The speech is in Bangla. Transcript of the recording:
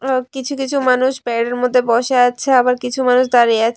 ও কিছু কিছু মানুষ পেয়ারের মধ্যে বসে আছে আবার কিছু মানুষ দাঁড়িয়ে আছে।